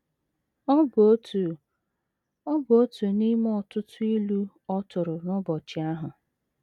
Ọ bụ otu Ọ bụ otu n’ime ọtụtụ ilu ọ tụrụ n’ụbọchị ahụ.